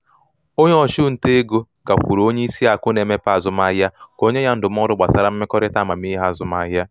onye ọchụnta ego gakwuru onye isi akụ na-emepe azụmaahịa ka o nye ya ndụmọdụ gbasara mmekọrịta amamihe azụmahịa.